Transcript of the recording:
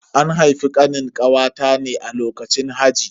An haifi Kanin kawata ne a lokacin haji.